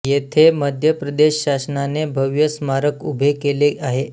येथे मध्य प्रदेश शासनाने भव्य स्मारक उभे केले आहे